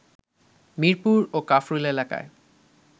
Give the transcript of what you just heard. মিরপুর ও কাফরুল এলাকায়